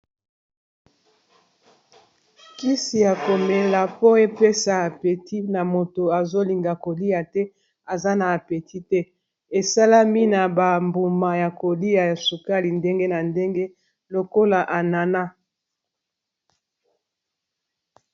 Kisi ya komela po epesa appeti na moto azolinga kolia te aza na apeti te esalami na ba mbuma ya kolia ya sukali ndenge na ndenge lokola ananas.